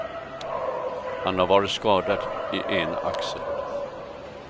Han har varit skadad i ena axeln.